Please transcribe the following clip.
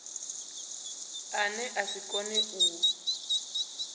ane a si kone u